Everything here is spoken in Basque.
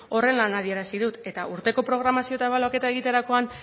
horrela adierazi dut eta urteko programazio eta ebaluaketa egiterakoan